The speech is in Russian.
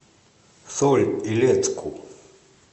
соль илецку